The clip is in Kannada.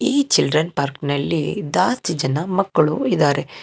ಈ ಚಿಲ್ಡ್ರನ್ ಪಾರ್ಕ್ ನಲ್ಲಿ ದಾಸ್ತಿ ಜನ ಮಕ್ಕಳು ಇದ್ದಾರೆ.